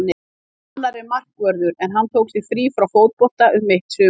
Fannar er markvörður en hann tók sér frí frá fótbolta um mitt sumar.